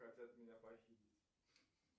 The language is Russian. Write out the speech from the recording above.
хотят меня похитить